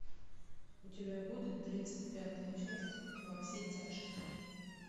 у тебя будет тридцать пятая часть во все тяжкие